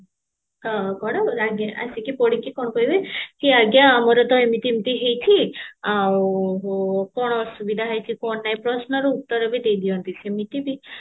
ହଁ କଣ ଆସିକି ପଡିକି କଣ କହିବେ କି ଆଜ୍ଞା ମୋର ତ ଏମିତି ଏମିତି ହେଇଚି ଆଉ କଣ ଅସୁବିଧା ହେଇଚି କଣ ନାହିଁ ପ୍ରଶ୍ନର ଉତ୍ତର ବି ଦେଇଦିଅନ୍ତି ସେମିତି ବି